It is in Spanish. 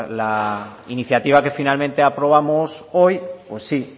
la iniciativa que finalmente aprobamos hoy pues sí